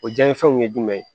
O jaabi fɛnw ye jumɛn ye